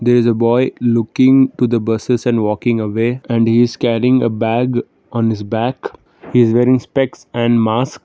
is a boy looking to the buses and walking away and is carrying a bag on is back and wearing specs and mask.